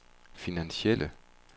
finansielle